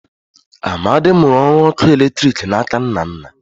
Amadi mụrụ ọrụ ọkụ eletriki na aka Nnanna